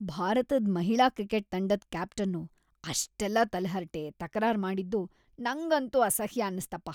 ಭಾರತದ್ ಮಹಿಳಾ ಕ್ರಿಕೆಟ್ ತಂಡದ್ ಕ್ಯಾಪ್ಟನ್ನು ಅಷೆಲ್ಲ ತಲಹರಟೆ, ತಕರಾರ್‌ ಮಾಡಿದ್ದು ನಂಗಂತೂ ಅಸಹ್ಯ ಆನ್ನಿಸ್ತಪ್ಪ.